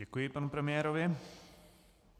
Děkuji panu premiérovi.